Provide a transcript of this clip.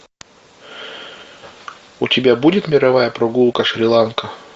у тебя будет мировая прогулка шри ланка